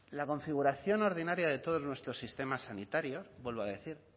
la configuración ordinaria de todos nuestros sistemas sanitarios vuelvo a decir